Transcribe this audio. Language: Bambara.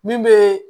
Min bɛ